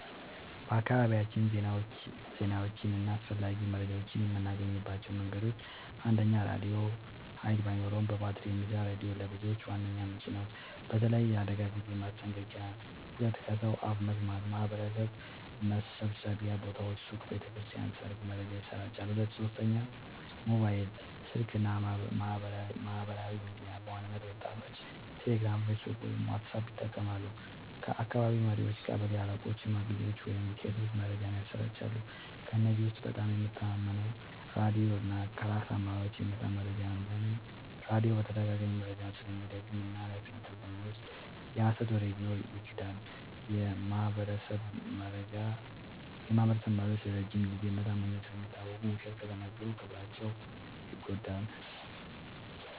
በአካባቢያችን ዜናዎችን እና አስፈላጊ መረጃዎችን የምናገኝባቸው መንገዶች፦ 1. ራድዮ – ኃይል ባይኖርም በባትሪ የሚሰራ ሬዲዮ ለብዙዎች ዋነኛ ምንጭ ነው፣ በተለይ ለአደጋ ጊዜ ማስጠንቀቂያ። 2. ከሰው አፍ መስማት – በማህበረሰብ መሰብሰቢያ ቦታዎች (ሱቅ፣ ቤተ ክርስቲያን፣ ሰርግ) መረጃ ይሰራጫል። 3. ሞባይል ስልክ እና ማህበራዊ ሚዲያ – በዋናነት ወጣቶች ቴሌግራም፣ ፌስቡክ ወይም ዋትስአፕ ይጠቀማሉ። 4. ከአካባቢ መሪዎች – ቀበሌ አለቆች፣ ሽማግሌዎች ወይም ቄሶች መረጃን ያሰራጫሉ። ከእነዚህ ውስጥ በጣም የምተማመነው ራድዮ እና ከራስ አመራሮች የሚመጣ መረጃ ነው። ለምን? · ራድዮ በተደጋጋሚ መረጃውን ስለሚደግም እና ኃላፊነቱን ስለሚወስድ። የሀሰት ወሬ ቢኖር ይክዳል። · የማህበረሰብ መሪዎች ለረጅም ጊዜ በታማኝነት ስለሚታወቁ፣ ውሸት ከተናገሩ ክብራቸው ይጎዳል።